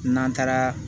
N'an taara